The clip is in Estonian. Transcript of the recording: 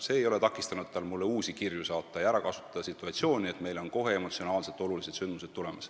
See ei ole takistanud teda mulle uusi kirju saatmast ja ära kasutamast situatsiooni, et kohe on meil emotsionaalselt olulised sündmused tulemas.